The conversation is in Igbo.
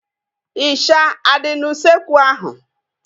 Ịsha adị n'usekwu ahu?